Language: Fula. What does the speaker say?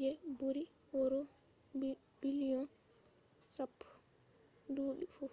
je buri euros biliyon 10 us$14.7 biliyon duubi fu